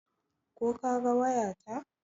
Ko ka ga waya ta?